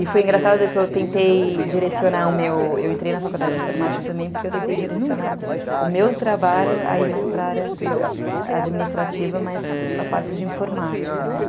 E foi engraçado que eu tentei direcionar o meu... Eu entrei na faculdade de informática também porque eu tentei direcionar o meu trabalho a ir mais para a área administrativa, mas para a parte de informática, né?